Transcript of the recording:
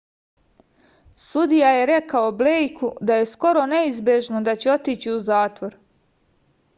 sudija je rekao blejku da je skoro neizbežno da će otići u zatvor